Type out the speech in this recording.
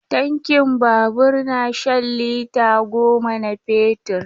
Tankin babur na shan lita goma na fetur.